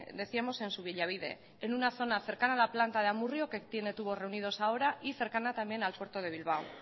decíamos en subillabide en una zona cercana a la planta de amurrio que tiene tubos reunidos ahora y cercana también al puerto de bilbao